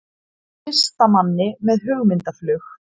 Listamanni með hugmyndaflug